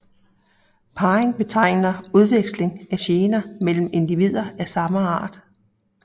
Parring betegner udveksling af gener mellem individer af samme art